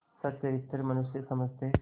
सच्चरित्र मनुष्य समझते